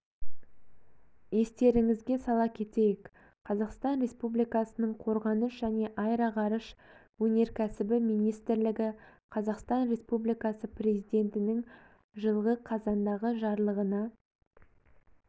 естеріңізге сала кетейік қазақстан республикасының қорғаныс және аэроғарыш өнеркәсібі министрлігі қазақстан республикасы президентінің жылғы қазандағы жарлығына